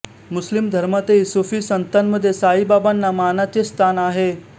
मुस्लिम धर्मातही सुफी संतांमध्ये साई बाबांना मानाचे स्थान आहे